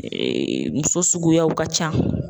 muso suguyaw ka ca.